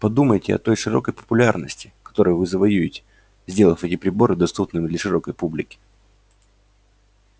подумайте о той широкой популярности которую вы завоюете сделав эти приборы доступными для широкой публики